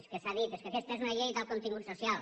és que s’ha dit és que aquesta és una llei d’alt contingut social